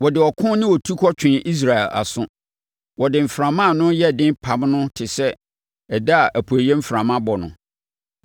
Wode ɔko ne otukɔ twee Israel aso. Wode mframa a ano yɛ den pam no te sɛ da a apueeɛ mframa bɔ no.